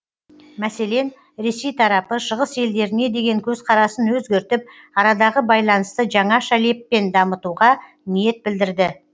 мәселен ресей тарапы шығыс елдеріне деген көзқарасын өзгертіп арадағы байланысты жаңаша леппен дамытуға ниет білдірді